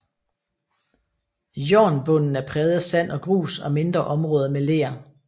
Jornbunden er præget af sand og grus og mindre områder med ler